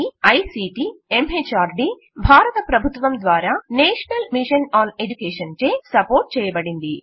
ఇది ICT MHRD భారత ప్రభుత్వం ద్వారా నేషనల్ మిషన్ ఆన్ ఎడ్యుకేషన్చే సపోర్ట్చేయబడినది